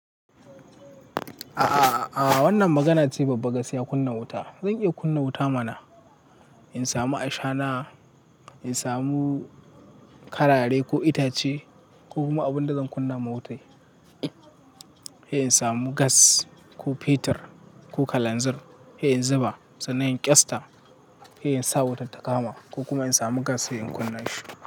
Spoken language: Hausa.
A a wannan magana ce babba gaskiya kunna wuta. Zan iya kunna wuta mana in samu ashana, in samu karare ko itace ko kuma abunda zan kunna ma wuta. In samu gas ko petur ko kalanzir sai zuba sannan in ƙyasta sai in sa wutar ta kama ko kuma in samu gas sai in kunna shi.